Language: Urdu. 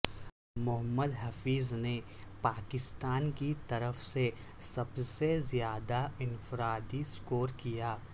محمد حفیظ نے پاکستان کی طرف سے سب سے زیادہ انفرادی سکور کیا